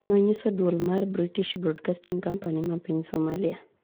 nonyiso duol mar British broadcasting company ma piny somalia